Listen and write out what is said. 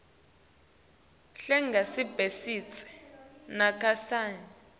hle angasebentisi nakancane